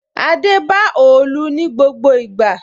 Adé ba òòlù ní gbogbo ìgbà